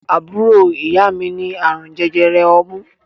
Àbúrò ìyá mi ní àrùn jẹjẹrẹ ọmú.